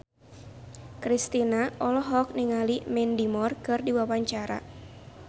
Kristina olohok ningali Mandy Moore keur diwawancara